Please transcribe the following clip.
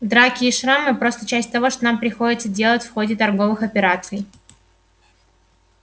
драки и шрамы просто часть того что нам приходится делать в ходе торговых операций